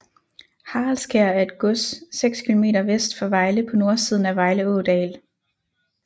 Haraldskær er et gods 6 km vest for Vejle på nordsiden af Vejle Ådal